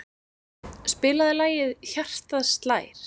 Steinn, spilaðu lagið „Hjartað slær“.